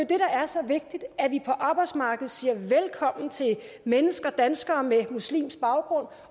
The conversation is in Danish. det der er så vigtigt nemlig at vi på arbejdsmarkedet siger velkommen til mennesker danskere med muslimsk baggrund